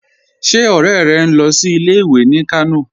Ṣé ọ̀rẹ́ rẹ̀ ń lọ sí ilẹ̀-ìwé ní Kànò?